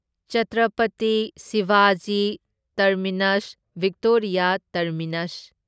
Chhatrapati Shivaji Terminus Victoria terminus